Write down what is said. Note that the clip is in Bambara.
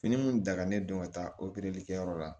Fini min dagalen don ka taa kɛyɔrɔ la